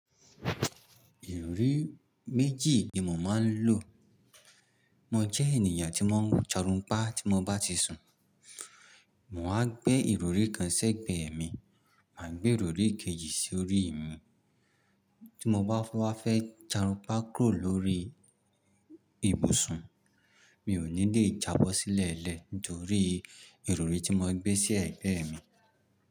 Ìrọrí méjì ni mo máa ń lò. Mo jẹ́ ènìyàn tí má ń jarunpá tí mo bá ti sun. Mo máa gbé ìrọrí kan sẹ́gbẹ̀ẹ́ mi, màá gbé ìrọrí kejì sí orí mi. Tí mo báwa fẹ́ jarunpá kúrò lórí ibùsùn, mi ò ní lè jábọ́ sílẹ̀ ẹlẹ́ẹ̀ torí ìrọrí tí mo gbé sí ẹ̀gbẹ́ mi.